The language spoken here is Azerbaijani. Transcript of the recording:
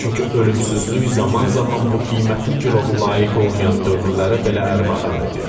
Çünki ölümsüzlük zaman-zaman bu qiymətli girovu layiq olmayan dövrlərə belə ərmağan edir.